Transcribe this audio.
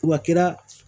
Wa kɛra